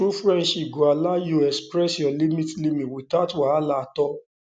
true friendship go allow you express your limits limits without wahala at all